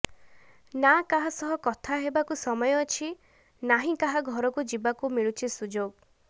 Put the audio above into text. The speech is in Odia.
ନା କାହା ସହ କଥା ହେବାକୁ ସମୟ ଅଛି ନାହିଁ କାହା ଘରକୁ ଯିବାକୁ ମିଳୁଛି ସୁଯୋଗ